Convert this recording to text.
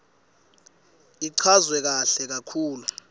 ichazwe kahle kakhulu